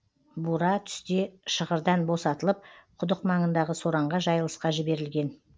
бура түсте шығырдан босатылып құдық маңындағы сораңға жайылысқа жіберілген